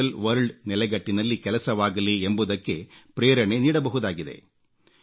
virtual world ನೆಲೆಗಟ್ಟಿನಲ್ಲಿ ಕೆಲಸವಾಗಲಿ ಎಂಬುದಕ್ಕೆ ಪ್ರೇರಣೆ ನೀಡಬಹುದಾಗಿದೆ